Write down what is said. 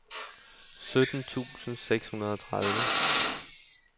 sytten tusind seks hundrede og tredive